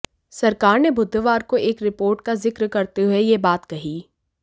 सरकार ने बुधवार को एक रिपोर्ट का जिक्र करते हुए यह बात कही